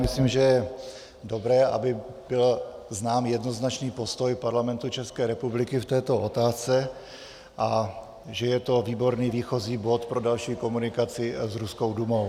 Myslím, že je dobré, aby byl znám jednoznačný postoj Parlamentu České republiky v této otázce, a že je to výborný výchozí bod pro další komunikaci s ruskou Dumou.